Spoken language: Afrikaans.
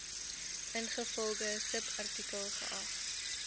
ingevolge subartikel geag